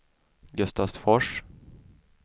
Gustavsfors